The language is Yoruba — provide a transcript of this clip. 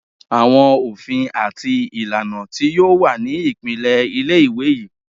Awọn ofin ati ilana ti yoo wa ni ipilẹ ile-iwe yii